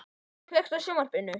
Jonni, kveiktu á sjónvarpinu.